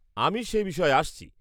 আমি সে বিষয়ে আসছি।